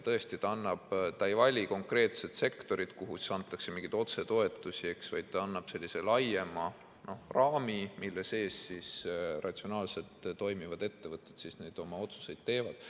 Tõesti, ta ei vali konkreetset sektorit, kuhu antakse mingeid otsetoetusi, vaid ta annab sellise laiema raami, mille sees ratsionaalselt toimivad ettevõtted oma otsuseid teevad.